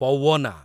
ପୱନା